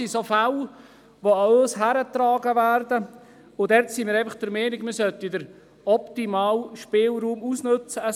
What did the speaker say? Solche Fälle werden an uns herangetragen, und hier sollte man den optimalen Spielraum ausnützen können.